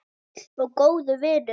Og góður vinur.